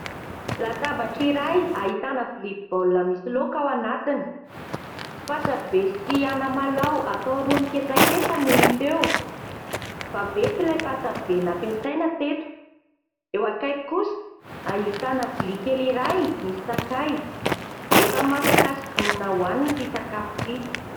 Latabatra iray ahitana vilia baolina misy laoka ao anatiny, patsa be sy anamalaho atao rony ketsaketsa no hita eo, vaventy ilay patsa be nampiasaina teto, eo akaiky kosa ahitana vilia kely iray misy sakay, efa masaka sy vonona hoanina ity sakafo ity.